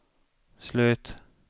slut